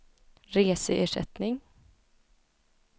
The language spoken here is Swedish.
reseersättning